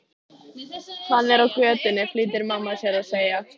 Af hverju ættir þú að sækja vatn handa mér?